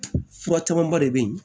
Fura camanba de bɛ yen